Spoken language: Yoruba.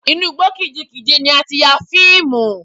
Inú igbó kìjikìji ni a ti ya fíìmù.